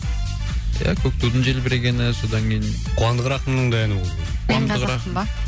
ия көк тудың желбірегені содан кейін қуандық рахымның да әні болып еді